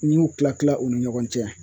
N'i m'u tila-tila u ni ɲɔgɔn cɛ